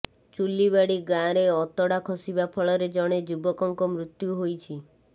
ଚୁଲିବାଡି ଗାଁରେ ଅତଡା ଖସିବା ଫଳରେ ଜଣେ ଯୁବକଙ୍କ ମୃତ୍ୟୁ ହୋଇଛି